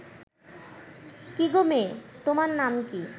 কি গো মেয়ে, তোমার নাম কি